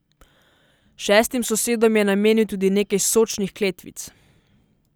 Šestim sosedom je namenil tudi nekaj sočnih kletvic.